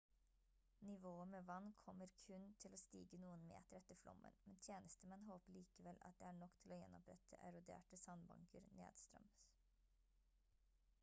nivået med vann kommer kun til å stige noen meter etter flommen men tjenestemenn håper allikevel at det er nok til å gjenopprette eroderte sandbanker nedstrøms